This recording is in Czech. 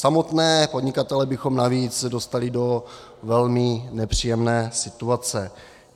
Samotné podnikatele bychom navíc dostali do velmi nepříjemné situace.